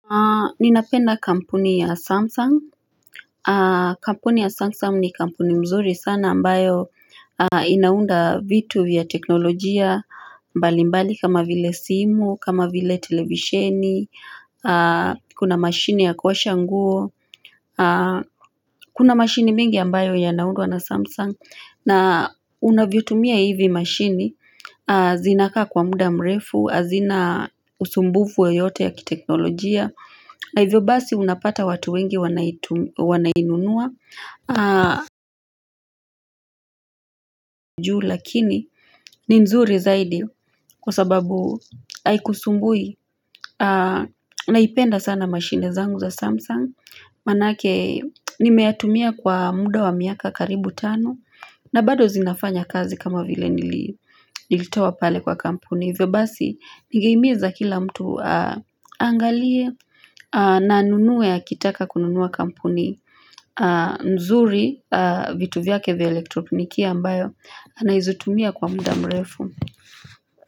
Ninapenda kampuni ya Samsung, kampuni ya Samsung ni kampuni nzuri sana ambayo inaunda vitu vya teknolojia, mbali mbali kama vile simu, kama vile televisheni, kuna mashine ya kuosha nguo, kuna mashine mengi ambayo yanaundwa na Samsung, na unavyotumia hivi mashine, zinakaa kwa muda mrefu, hazina usumbufu yoyote ya kiteknolojia, na hivyo basi unapata watu wengi wanainunua juu lakini ni nzuri zaidi kwa sababu haikusumbui Naipenda sana machine zangu za Samsung Maana yake nimeyatumia kwa muda wa miaka karibu tano na bado zinafanya kazi kama vile nilitoa pale kwa kampuni Hivyo basi ningeimiza kila mtu angalie na anunue akitaka kununua kampuni nzuri vitu vyake vya elektroniki ambayo Anaizutumia kwa muda mrefu.